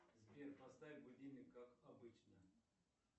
сбер поставь будильник как обычно